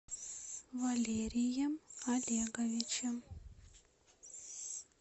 валерием олеговичем